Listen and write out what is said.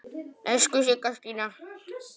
Elsku Sigga Stína.